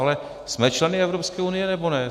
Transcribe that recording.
Ale jsme členy Evropské unie, nebo ne?